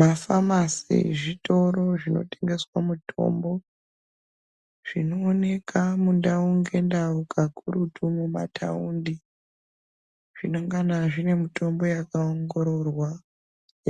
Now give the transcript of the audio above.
Mafamasi zvitoro zvinotengeswa mutombo zvinooneka mundau ngendau kakurutu mumataundi zvinongana zvinen mutombo wakaongororwa